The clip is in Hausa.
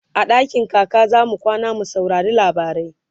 a dakin kaka zamu kwana mu saurari labarai